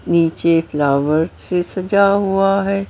नीचे फ्लावर से सजा हुआ है।